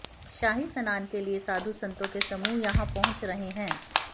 शाही स्नान के लिए साधू संतों के समूह यहां पहुंच रहे हैं